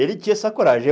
Ele tinha essa coragem. Eu